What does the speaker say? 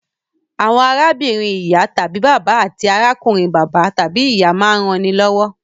Àwọn arábìnrin ìyá/bàbà àti arákùnrin bàbá/ìyá máa ń rannilọ́wọ́